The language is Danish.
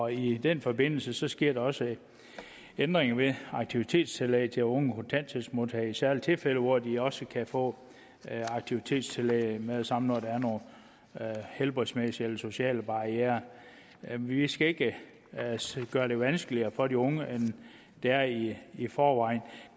i den forbindelse sker der også ændringer med aktivitetstillæg til unge kontanthjælpsmodtagere i særlige tilfælde hvor de også kan få aktivitetstillæg med det samme når der er nogle helbredsmæssige eller sociale barrierer vi vi skal ikke gøre det vanskeligere for de unge end det er i i forvejen